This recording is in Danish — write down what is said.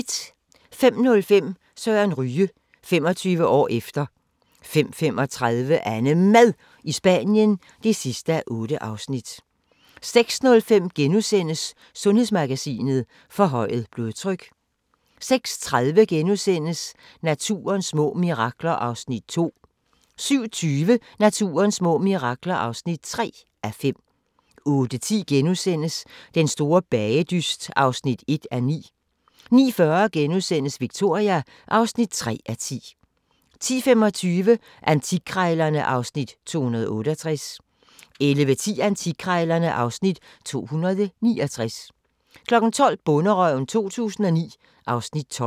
05:05: Søren Ryge – 25 år efter 05:35: AnneMad i Spanien (8:8) 06:05: Sundhedsmagasinet: Forhøjet blodtryk * 06:30: Naturens små mirakler (2:5)* 07:20: Naturens små mirakler (3:5) 08:10: Den store bagedyst (1:9)* 09:40: Victoria (3:10)* 10:25: Antikkrejlerne (Afs. 268) 11:10: Antikkrejlerne (Afs. 269) 12:00: Bonderøven 2009 (Afs. 12)